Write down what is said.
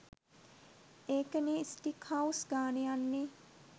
ඒක නේ steak house ගානේ යන්නේ